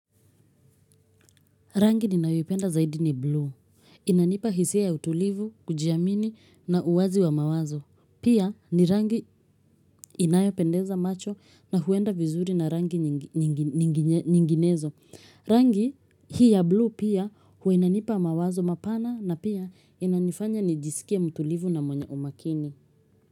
Rangi ninayopenda zaidi ni bluu. Inanipa hisia ya utulivu, kujiamini na uwazi wa mawazo. Pia ni rangi inayopendeza macho na huenda vizuri na rangi nyinginezo. Rangi hii ya bluu pia huinanipa mawazo mapana na pia inanifanya nijisikia mtulivu na mwenye umakini.